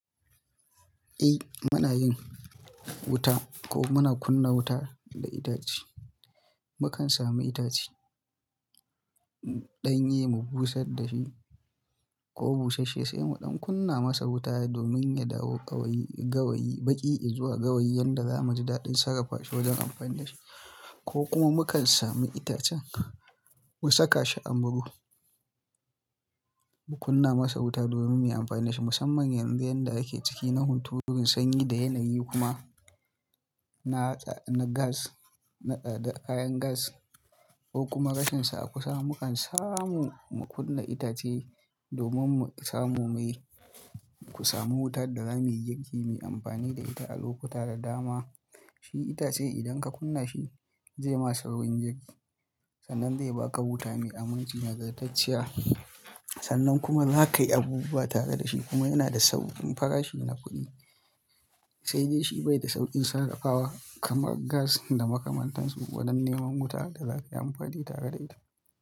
Eh muna yin wuta ko muna kunna wuta da itace. Mukan sami itace, ɗanye mu busar da shi ko busasshe sai mu ɗan kunna masa wuta domin ya dawo gawayi, gawayi baƙi izuwa gawayi yadda zamu ji daɗin sarrafashi wajen amfani da shi. Ko kuma mu kan sami itacen mu saka shi a murhu, mu kunna masa wuta domin mu yi amfani da shi musamman yanzu yadda yake ciki nahunturun sanyi da yanayi kuma na gas, na tsadar kayan gas ko kuma rashinsa a kusa. Mukan samu mu kunna itace domin mu samu mai, ku samu wutar da zamu yi girki, mu yi amfani da ita a lokuta da dama. Shi itace idan ka kunna shi zai ma saurin girki sannan zai baka wuta ne a minti nagartacciya. Sannan kuma za kayi abubuwa tare da shi kuma yana da sauƙin farashi na kuɗi. Sai dai shi bai da sauƙin sarrafawa kamar gas da makamantansu wajen neman wuta da za ka yi amfani tare da ita.